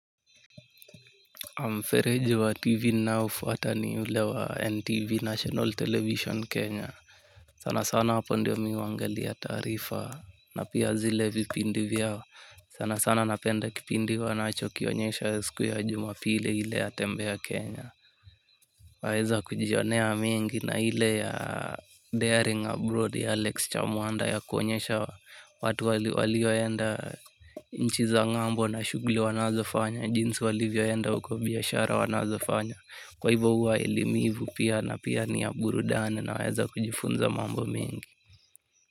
Mfereji wa TV naofuata ni ule wa NTV National Television Kenya. Sana sana hapo ndio mi huangalia tarifa na pia zile vipindi vyao. Sana sana napenda kipindi wanacho kionyesha siku ya juma pili ile ya tembe ya Kenya. Waeza kujionea mengi na ile ya daring abroad ya Alex Chamwanda ya kuonyesha watu walioenda nchi za ng'ambo na shughuli wanazofanya. Jinsi walivyoenda huko biashara wanazofanya kwa hivyo huwa elimivu pia na pia ni ya burudani. Naweza kujifunza mambo mengi.